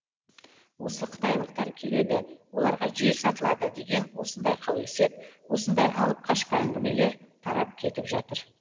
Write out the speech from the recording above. осы қытайлықтар келеді оларға жер сатылады деген осындай қауесет осындай алып қашпа әңгімелер тарап кетіп жатыр